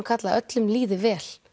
karla að öllum líði vel